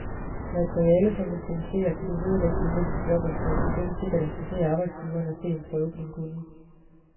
Materialet, du producerer, kan du vedlægge din næste jobansøgning, det vil sikkert interessere arbejdsgiveren at se en prøve på din kunnen.